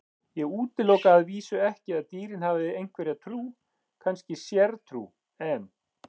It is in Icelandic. Ég útiloka að vísu ekki að dýrin hafi einhverja trú, kannski sértrú, en.